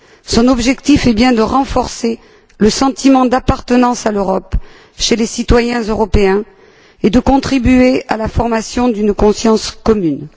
Son objectif est bien de renforcer le sentiment d'appartenance à l'Europe chez les citoyens européens et de contribuer à la formation d'une conscience commune.